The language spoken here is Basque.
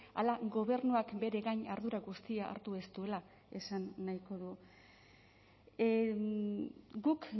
ala gobernuak bere gain ardura guztia hartu ez duela esan nahiko du guk